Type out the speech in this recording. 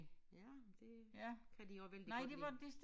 Ja men det kan de også vældig godt lide